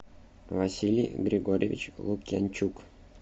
василий григорьевич лукьянчук